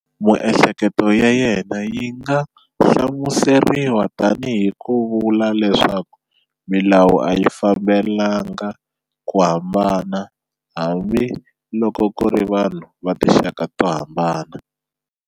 Miehleketo ya yena yi nga hlamuseriwa tanihi ku vula leswaku, milawu a yi fanelanga ku hambana hambi loko ku ri vanhu va tinxaka to hambana.